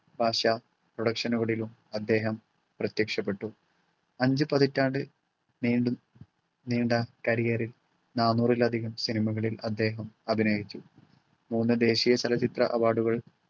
ഭാഷാ production നുകളിലും അദ്ദേഹം പ്രത്യക്ഷപ്പെട്ടു. അഞ്ചു പതിറ്റാണ്ട് നീളും നീണ്ട career ൽ നാനൂറിലധികം സിനിമകളിൽ അദ്ദേഹം അഭിനയിച്ചു. മൂന്ന് ദേശീയ ചലച്ചിത്ര അവാർഡുകൾ